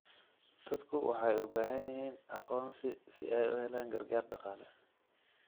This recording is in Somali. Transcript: Dadku waxay u baahan yihiin aqoonsi si ay u helaan gargaar dhaqaale.